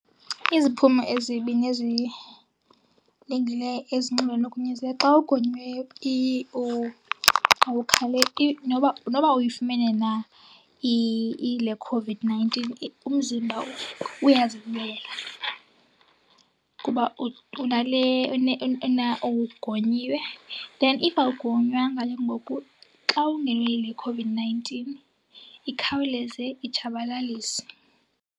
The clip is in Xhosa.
Iziphumo ezibi nezilungileyo ezinxulumene nogonyo , xa ugonyiweyo noba, noba uyifumene na le COVID-nineteen umzimba uyazilwela kuba unale , ugonyiwe. Then if awugonywanga ke ngoku xa ungenwe yile COVID-nineteen ikhawuleze itshabalalise.